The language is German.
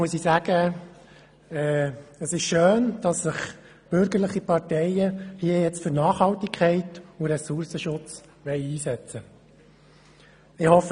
Es ist schön, dass sich bürgerliche Parteien hier für Nachhaltigkeit und Ressourcenschutz einsetzen wollen.